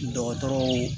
Dɔgɔtɔrɔw